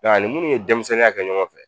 ani munnu ye denmisɛnninya kɛ ɲɔgɔn fɛ